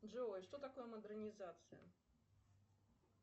джой что такое модернизация